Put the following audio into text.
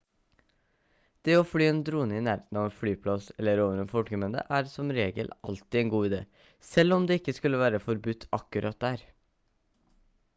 det å fly en drone i nærheten av en flyplass eller over en folkemengde er som regel alltid en dårlig idé selv om det ikke skulle være forbudt akkurat der